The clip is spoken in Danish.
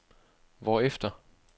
hvorefter